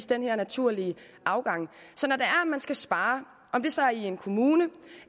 den her naturlige afgang så når man skal spare om det så er i en kommune